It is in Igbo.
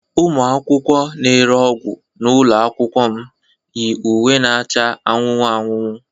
Ụmụ akwụkwọ na-ere ọgwụ n'ụlọ akwụkwọ m yi uwe na-acha anụnụ anụnụ.